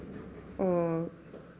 og